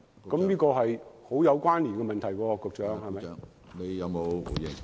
這是極有關連的問題，局長。